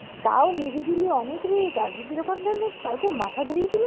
তাও নিরিবিলি অনেক rate । আগে এরকম জানলে কালকে মাথা ধরিয়ে দিল।